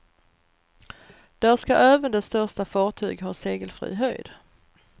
Där ska även de största fartyg ha segelfri höjd.